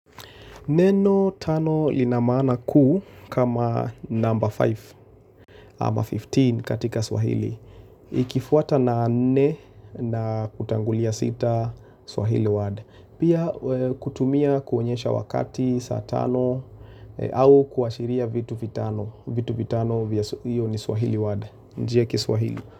Neno tano ina maana kuu kama number 5 ama 15 katika swahili. Ikifuata na nne na kutangulia sita swahili word. Pia kutumia kuonyesha wakati saa tano au kuashiria vitu vitano. Vitu vitano hiyo ni swahili word. Njia ya kiswahili.